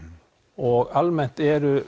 og almennt eru